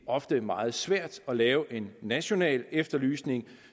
ofte er meget svært at lave en national efterlysning